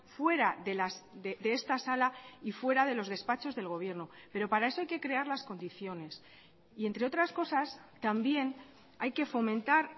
fuera de esta sala y fuera de los despachos del gobierno pero para eso hay que crear las condiciones y entre otras cosas también hay que fomentar